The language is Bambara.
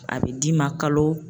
A bɛ d'i ma kalo